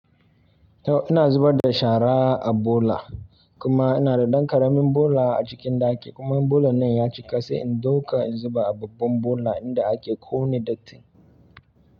Yau ina zubar da shara a bola kuma ina da ɗan ƙaramin bola a cikin ɗaki kuma bola nan ya cika sai in dauka in zuba a babban bola in da ake ƙone dattin.